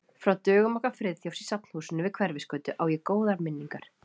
Frá dögum okkar Friðþjófs í Safnahúsinu við Hverfisgötu á ég góðar minningar.